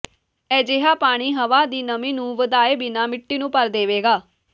ਅਜਿਹਾ ਪਾਣੀ ਹਵਾ ਦੀ ਨਮੀ ਨੂੰ ਵਧਾਏ ਬਿਨਾਂ ਮਿੱਟੀ ਨੂੰ ਭਰ ਦੇਵੇਗਾ